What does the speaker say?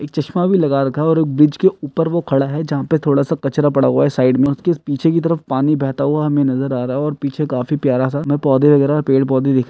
एक चश्मा भी लगा रखा है एक ब्रिज के ऊपर वो खड़ा है जहाँ पे थोड़ा सा कचरा पड़ा हुआ है साइड में उसके पीछे की तरफ पानी बहता हुआ हमें नजर आ रहा है और पीछे काफी प्यारा सा उसमें पौध वगेहरा और पेड़ पौधे दिख --